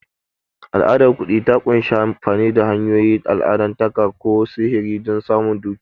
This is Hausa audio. Al'adar kuɗi ta ƙunshi amfani da hanyoyin allahntaka ko sihiri don samun dukiya.